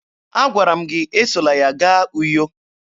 Agwara m gị esola ya gaa Uyo!